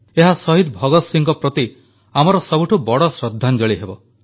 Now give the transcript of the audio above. ଏହା ସହିଦ ଭଗତ ସିଂହଙ୍କ ପ୍ରତି ଆମର ସବୁଠୁ ବଡ଼ ଶ୍ରଦ୍ଧାଞ୍ଜଳି ହେବ